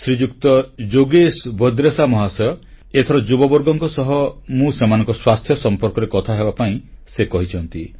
ଶ୍ରୀଯୁକ୍ତ ଯୋଗେଶ ଭଦ୍ରେଶା ମହାଶୟ ଏଥର ଯୁବବର୍ଗଙ୍କ ସହ ମୁଁ ସେମାନଙ୍କ ସ୍ୱାସ୍ଥ୍ୟ ସମ୍ପର୍କରେ କଥା ହେବାପାଇଁ ସେ କହିଛନ୍ତି